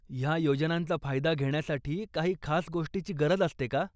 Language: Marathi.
ह्या योजनांचा फायदा घेण्यासाठी काही खास गोष्टीची गरज असते का?